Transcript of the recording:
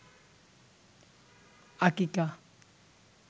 আকিকা